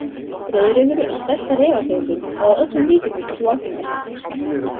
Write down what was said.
Rauðrefur er stærsta refategundin og að öllum líkindum sú algengasta.